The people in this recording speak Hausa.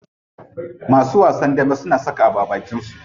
Masu wasan dambe suna saka abu a abakin su.